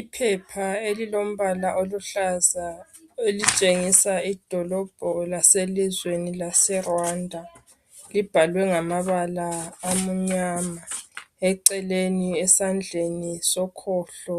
Iphepha elilombala oluhlaza elitshengisa idolobho laselizweni leRwanda libhalwe ngamabala amnyama eceleni esandleni sokhohlo